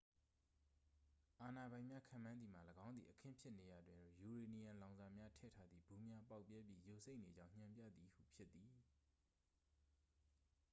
အာဏာပိုင်များ ခန့်မှန်းသည်မှာ ၎င်းသည် အခင်းဖြစ်နေရာတွင် ယူရေနီယံလောင်စာများထည့်ထားသည့် ဗူးများ ပေါက်ပြဲပြီး ယိုစိမ့်နေကြောင်း ညွှန်ပြသည်ဟု ဖြစ်သည်